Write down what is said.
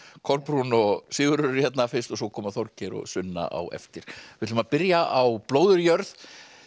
Kolbrún og Sigurður eru hérna fyrst og svo koma Þorgeir og Sunna á eftir við ætlum að byrja á blóðugri jörð